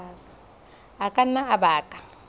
a ka nna a baka